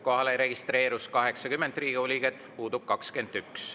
Kohalolijaks registreerus 80 Riigikogu liiget, puudub 21.